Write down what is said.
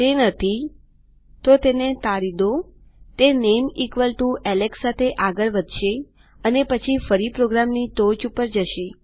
તે નથીતો તેને ટાળી દોતે નામે એલેક્સ સાથે આગળ વધશેઅને પછી ફરી પ્રોગ્રામની ટોચ ઉપર જશે